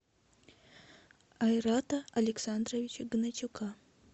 айрата александровича гнатюка